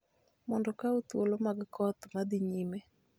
mondo okaw thuolo mag koth ma dhi nyime.